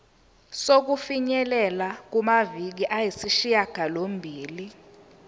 sokufinyelela kumaviki ayisishagalombili